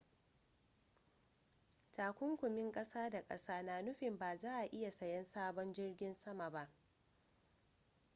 takunkumin ƙasa da ƙasa na nufin ba za a iya sayan sabon jirgin sama ba